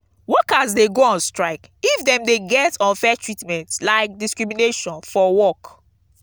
workers de go on strike if dem de get unfair treatment like discrimnation for work